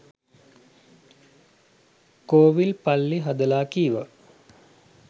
කෝවිල් පල්ලි හදලා කීවා